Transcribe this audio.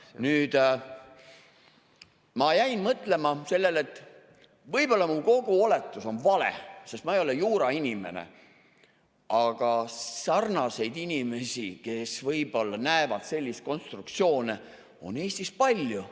Nüüd, ma jäin mõtlema sellele, et võib-olla mu kogu oletus on vale, sest ma ei ole juurainimene, aga sarnaseid inimesi, kes võib-olla näevad selliseid konstruktsioone, on Eestis palju.